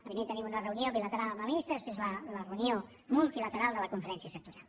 primer tenim una reunió bilateral amb la ministra després la reunió multilateral de la conferència sectorial